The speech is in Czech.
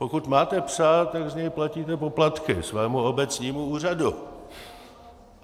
Pokud máte psa, tak z něj platíte poplatky svému obecnímu úřadu.